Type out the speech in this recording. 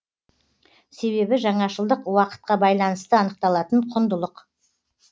себебі жаңашылдық уақытқа байланысты анықталатын құндылық